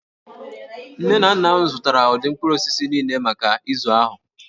Nne na nna m zụtara ụdị mkpụrụ osisi niile maka izu ahụ